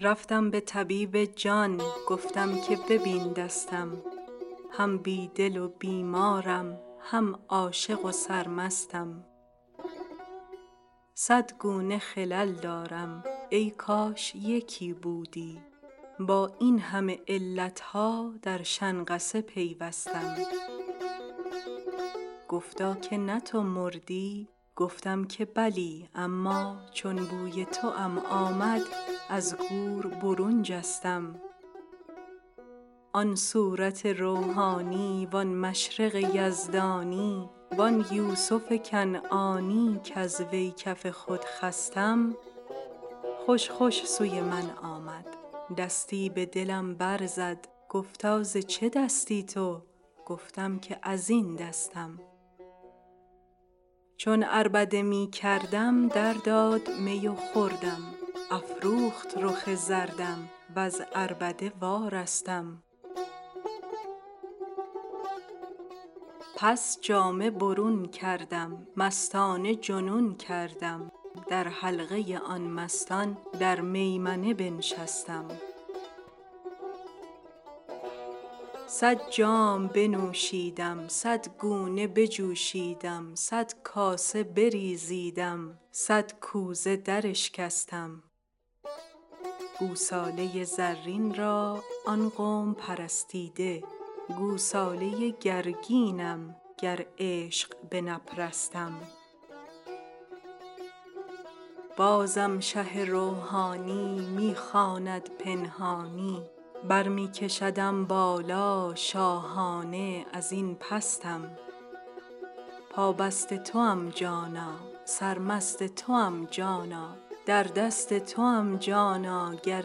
رفتم به طبیب جان گفتم که ببین دستم هم بی دل و بیمارم هم عاشق و سرمستم صد گونه خلل دارم ای کاش یکی بودی با این همه علت ها در شنقصه پیوستم گفتا که نه تو مردی گفتم که بلی اما چون بوی توام آمد از گور برون جستم آن صورت روحانی وان مشرق یزدانی وان یوسف کنعانی کز وی کف خود خستم خوش خوش سوی من آمد دستی به دلم برزد گفتا ز چه دستی تو گفتم که از این دستم چون عربده می کردم درداد می و خوردم افروخت رخ زردم وز عربده وارستم پس جامه برون کردم مستانه جنون کردم در حلقه آن مستان در میمنه بنشستم صد جام بنوشیدم صد گونه بجوشیدم صد کاسه بریزیدم صد کوزه دراشکستم گوساله زرین را آن قوم پرستیده گوساله گرگینم گر عشق بنپرستم بازم شه روحانی می خواند پنهانی بر می کشدم بالا شاهانه از این پستم پابست توام جانا سرمست توام جانا در دست توام جانا گر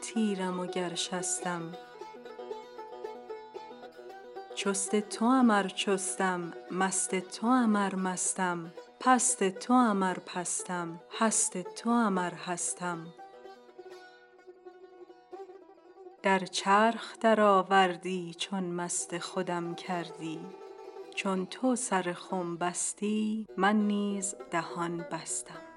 تیرم وگر شستم چست توام ار چستم مست توام ار مستم پست توام ار پستم هست توام ار هستم در چرخ درآوردی چون مست خودم کردی چون تو سر خم بستی من نیز دهان بستم